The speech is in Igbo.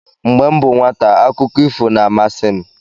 Mgbe m bụ nwata, akụkọ ifo na-amasị m